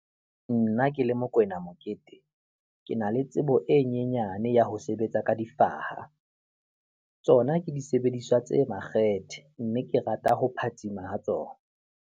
Nna ke le Mokoena Mokete, ke na le tsebo e nyenyane ya ho sebetsa ka difaha. Tsona ke disebediswa tse makgethe, mme ke rata ho phatsima ho tsona.